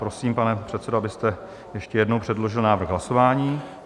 Prosím, pane předsedo, abyste ještě jednou předložil návrh hlasování.